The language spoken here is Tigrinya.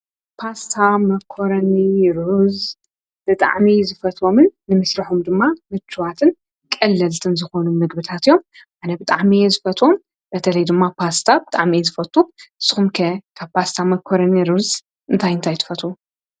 ጳስሳ መኮሮኒሩዝ ብጥዕሚ ዝፈትዎምን ንምሥ ራሑም ድማ ምችዋትን ቀለልትን ዝኾኑ ምግብታትዮም ኣነ ብጥዕሚየ ዝፈትም በተለይ ድማ ጳስታ ብጣዕመየ ዝፈቱ ስምከ ካብ ጳስታ መኮረኒሩዝ እንታይንታይትፈቱ።